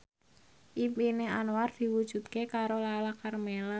impine Anwar diwujudke karo Lala Karmela